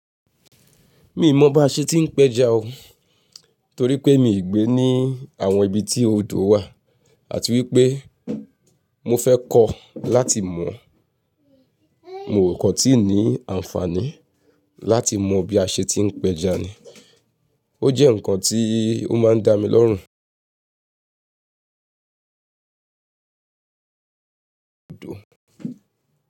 Mi mọ bá ṣe ti ń pẹja o torí pé mi ò gbé ní àwọn ibi tí odò wà àti wípé mo fẹ́ kọ́ láti mọ̀. Moò kán tí ní àǹfààní láti mọ bí a ṣe ti ń pẹja ni. O jẹ́ nǹkan tí ó máa ń dá mi lọ́rùn dò.